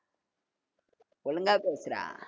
ஒழுங்கா பேசுடா